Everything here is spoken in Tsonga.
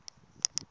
ndzati